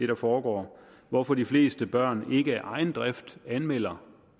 der foregår hvorfor de fleste børn ikke af egen drift anmelder